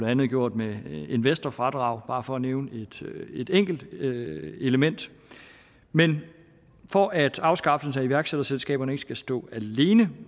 andet gjort med investorfradraget bare for at nævne et enkelt element men for at afskaffelse af iværksætterselskaberne ikke skal stå alene